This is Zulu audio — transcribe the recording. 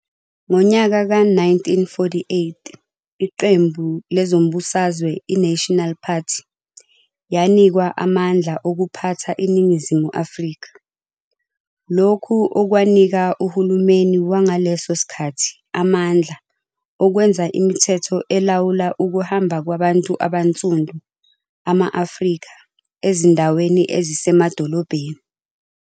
Ngonyaka we-1948 iqembu lezombusazwe i-"National Party" yanikwa amandla okuphatha iNingizimu Afrika. Lokhu okwaninka uhulumeni wangaleso sikhathi amandla okwenza imithetho elawula ukuhamba kwabantu abansundu, ama-Afrika, ezindaweni ezisemadolobheni.